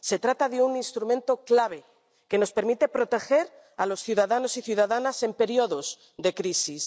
Se trata de un instrumento clave, que nos permite proteger a los ciudadanos y ciudadanas en periodos de crisis.